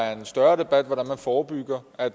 er en større debat hvordan man forebygger at